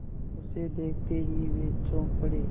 उसे देखते ही वे चौंक पड़े